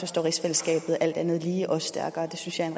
står rigsfællesskabet alt andet lige også stærkere det synes jeg er